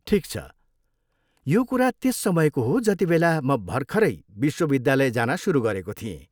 ठिक छ, यो कुरा त्यस समयको हो जतिबेला म भर्खरै विश्वविद्यालय जान सुरु गरेको थिएँ।